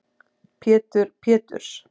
Pétur Péturs